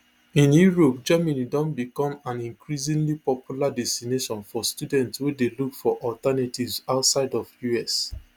in europe germany don becomean increasingly popular destination for studentswey dey look for alternatives outside of us